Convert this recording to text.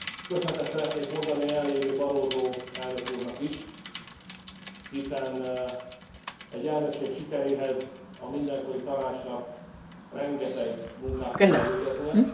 Köszönetet szeretnék mondani a jelen lévő Barroso elnök úrnak is, hiszen egy elnökség sikeréhez a mindenkori Tanácsnak rengeteg munkát kell elvégeznie.